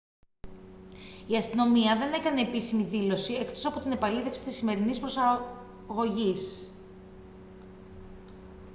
η αστυνομία δεν έκανε επίσημη δήλωση εκτός από την επαλήθευση της σημερινής προσαγωγής